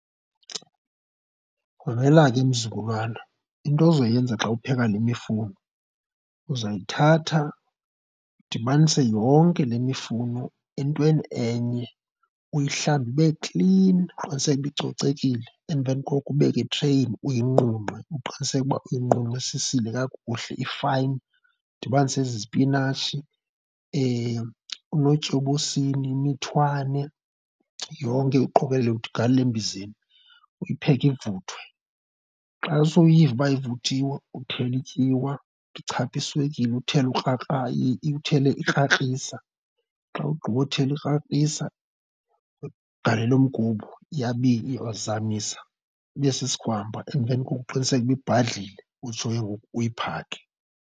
Mamela ke mzukulwana, into ozoyenza xa upheka le mifuno, uzayithatha udibanise yonke le mifuno entweni enye uyihlambe ibe klini uqiniseke ukuba icocekile. Emveni koko ubeke itreyini uyinqunqe. Uqiniseke ukuba uyinqunqisisile kakuhle, ifayini. Udibanise ezi zipinatshi, uNotyobosini, imithwane yonke uqokelele ugalele embizeni, uyipheke ivuthwe. Xa sewuyiva uba ivuthiwe, uthele ityiwa, uthi chatha iswekile, uthele ukrakra uthele ikrakrisa. Xa ugqibothela ikrakrisa ugalele mgubo, uyazamisa ibe sisigwampa. Emveni koko uqiniseke uba ubhadlile utsho ke ngoku uyiphake.